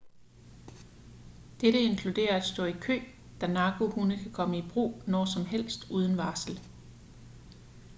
dette inkluderer at stå i kø da narkohunde kan komme i brug når som helst uden varsel